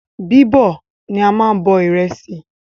Bíbọ̀ ni a máa n bọ ìrẹsì